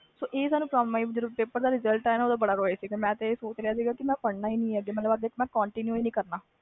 ਇਹ ਤੇ ਜਦੋ ਪੇਪਰ ਦਾ result ਆਇਆ ਓਦੋ ਬਹੁਤ ਰੋਏ ਸੀ ਅਸੀਂ ਮੈਂ ਇਹ ਸੋਚ ਲਿਆ ਸੀ ਪੜ੍ਹਨਾ ਹੀ ਨਹੀਂ ਅੱਗੇ continue ਨਹੀਂ ਕਰਨਾ